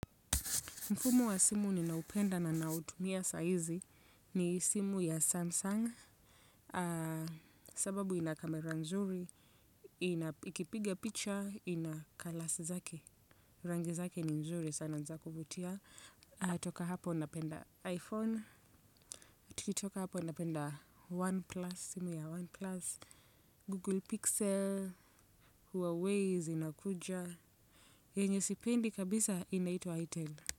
Mfumo wa simu ninaupenda na nautumia saa hizi ni simu ya Samsung. Sababu ina camera nzuri, ina ikipiga picha, ina colours zake. Rangi zake ni nzuri sana ni za kuvutia. Toka hapo napenda iPhone, tukitoka hapo napenda OnePlus, simu ya OnePlus. Google Pixel, Huawei zinakuja. Yenye sipendi kabisa inaitwa itel.